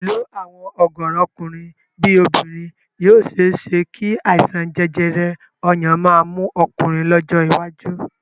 Pẹ̀lú àwọn ọ̀gọ̀ọ̀rọ̀ ọkùnrin bí obìnrin yìí ó ṣe é ṣé kí àìsàn jẹjẹrẹ ọyàn máa mú ọkùnrin lọ́jọ́ iwájú